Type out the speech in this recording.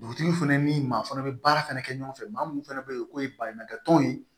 Dugutigiw fɛnɛ ni maa fana be baara fɛnɛ kɛ ɲɔgɔn fɛ maa munnu fɛnɛ be yen k'o ye baɲumankɛ tɔnw ye